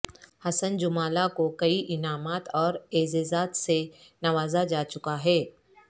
حسن جمالہ کو کئی انعامات اور اعزازات سے نوازا جا چکا ہے